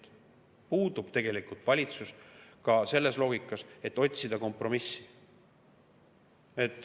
puudub tegelikult üksmeel ka selles loogikas, et otsida kompromissi.